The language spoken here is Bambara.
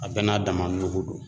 A bɛɛ n'a dama nugu do.